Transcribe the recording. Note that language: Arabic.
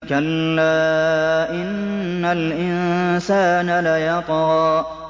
كَلَّا إِنَّ الْإِنسَانَ لَيَطْغَىٰ